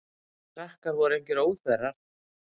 Þessir krakkar voru engir óþverrar.